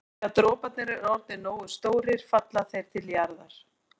Þegar droparnir eru orðnir nógu stórir falla þeir til jarðar.